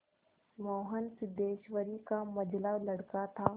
मोहन सिद्धेश्वरी का मंझला लड़का था